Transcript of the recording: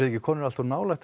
ekki komnir allt of nálægt